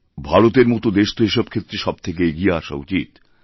ভারতের মতো দেশ তো এসব ক্ষেত্রে সবথেকে এগিয়ে আসা উচিত